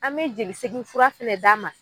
An me jeli segin fura fɛnɛ d'a ma